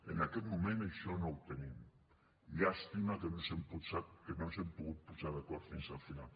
en aquest moment això no ho tenim llàstima que no ens hem pogut posar d’acord fins al final